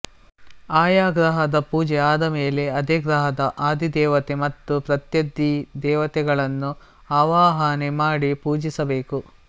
ಆಯಾ ಗ್ರಹದ ಪೂಜೆ ಆದಮೇಲೆ ಅದೇ ಗ್ರಹದ ಅಧಿದೇವತೆ ಮತ್ತು ಪ್ರತ್ಯಧಿದೇವತೆಗಳನ್ನು ಆವಾಹನೆ ಮಾಡಿ ಪೂಜಿಸಬೇಕು